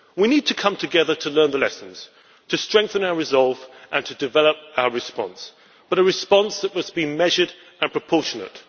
We need to come together to learn the lessons, to strengthen our resolve and to develop our response a response that must be measured and proportionate.